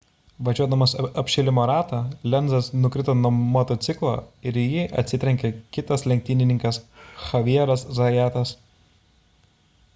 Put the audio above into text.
važiuodamas apšilimo ratą lenzas nukrito nuo motociklo ir į jį atsitrenkė kitas lenktynininkas xavieras zayatas